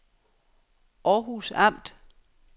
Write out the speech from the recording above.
Århus Amt